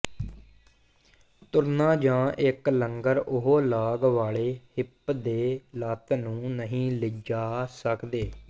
ਤੁਰਨਾ ਜਾਂ ਇੱਕ ਲੰਗਰ ਉਹ ਲਾਗ ਵਾਲੇ ਹਿੱਪ ਦੇ ਲੱਤ ਨੂੰ ਨਹੀਂ ਲਿਜਾ ਸਕਦੇ